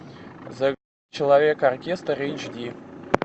человек оркестр эйч ди